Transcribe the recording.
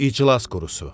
İclas qurusu.